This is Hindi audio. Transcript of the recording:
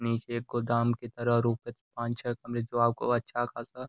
नीचे एक गोदाम की तरह और ऊपर पांच छह कमरे जो आपको अच्छा खासा --